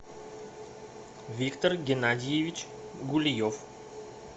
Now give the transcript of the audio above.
виктор геннадьевич гульев